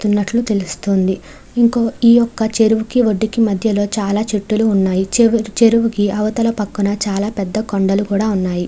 వెళ్తున్నటు తెలుస్తుంది ఈ యొక్క చెరువు కి వద్దు కి మధ్యలో చాల చెట్లు ఉన్నాయి చెరువు కి అవతల పక్కన చాల పెద్ద కొండలు కూడా ఉన్నాయి .